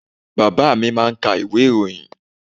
Baba mi máà ń ka ìwé ìròyìn.